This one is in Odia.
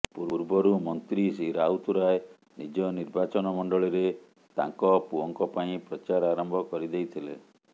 ପୂର୍ବରୁ ମନ୍ତ୍ରୀ ଶ୍ରୀ ରାଉତରାୟ ନିଜ ନିର୍ବାଚନ ମଣ୍ଡଳୀରେ ତାଙ୍କ ପୁଅଙ୍କ ପାଇଁ ପ୍ରଚାର ଆରମ୍ଭ କରି ଦେଇଥିଲେ